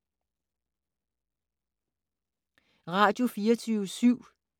Radio24syv